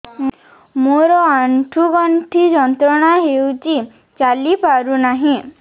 ମୋରୋ ଆଣ୍ଠୁଗଣ୍ଠି ଯନ୍ତ୍ରଣା ହଉଚି ଚାଲିପାରୁନାହିଁ